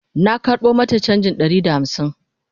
na karɓo mata chanjin Ɗari da hamsin